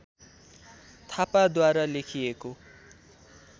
थापाद्वारा लेखिएको